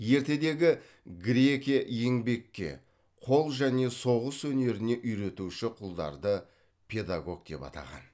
ертедегі грекия еңбекке қол және соғыс өнеріне үйретуші құлдарды педагог деп атаған